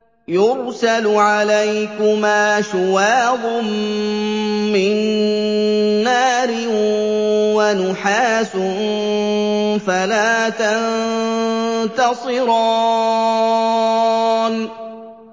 يُرْسَلُ عَلَيْكُمَا شُوَاظٌ مِّن نَّارٍ وَنُحَاسٌ فَلَا تَنتَصِرَانِ